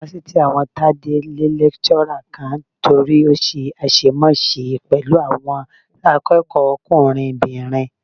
Fásitì àwọn Tádé lé lẹ́kíṣọ́rà kan nítorí ó ṣe àṣemáṣe pẹ̀lú àwọn akẹ́kọ̀ọ́kùnrinbìnrin